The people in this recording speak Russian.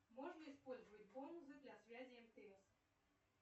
можно использовать бонусы для связи мтс